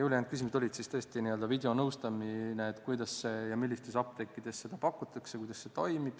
Ülejäänud küsimused olid siis tõesti n-ö videonõustamise kohta, kuidas see käib ja millistes apteekides seda pakutakse, kuidas see toimib.